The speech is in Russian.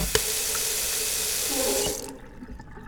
хеликс